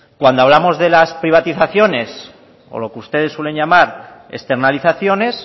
cuando hablamos de las privatizaciones o lo que ustedes suelen llamar externalizaciones